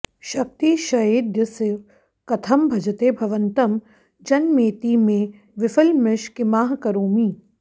शक्तिक्षयेऽद्य स कथं भजते भवन्तं जन्मेति मे विफलमीश किमाः करोमि